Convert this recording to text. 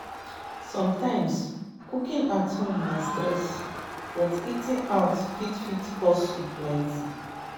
Sometimes, cooking at home na stress, but eating out fit fit cost you plenty.